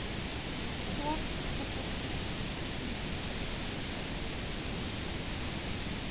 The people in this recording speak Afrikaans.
ggowp fasiliteer deelname